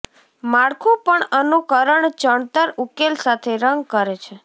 માળખું પણ અનુકરણ ચણતર ઉકેલ સાથે રંગ કરે છે